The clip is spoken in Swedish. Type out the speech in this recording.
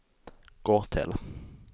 gå till